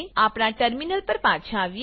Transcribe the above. આપણા ટર્મીનલ પર પાછા આવીએ